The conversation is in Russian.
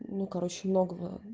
ну короче многого